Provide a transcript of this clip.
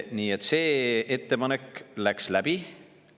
Nii et see ettepanek läks läbi.